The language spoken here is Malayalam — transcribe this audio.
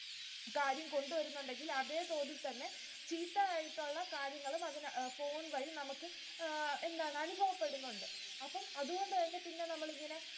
കാര്യംകൊണ്ട് വരുന്നുണ്ടെങ്കിൽ അതേ തോതിൽ തന്നെ ചീത്ത ആയിട്ടുള്ള കാര്യങ്ങളും അതിനകത് phone വഴി നമുക്ക് അഹ് എന്താണ് അനുഭവപ്പെടുന്നുണ്ട്. അപ്പോ അതുകൊണ്ടുതന്നെ പിന്നെ നമ്മളിങ്ങനെ